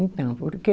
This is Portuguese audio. Então, porque